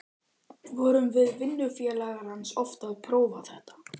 Vorum við vinnufélagar hans oft að prófa þetta.